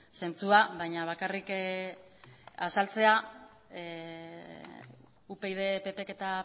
zentzua baina bakarrik azaltzea upyd ppk eta